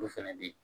Olu fɛnɛ bi